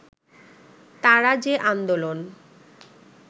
তারা যে আন্দোলন